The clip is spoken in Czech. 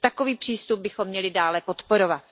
Takový přístup bychom měli dále podporovat.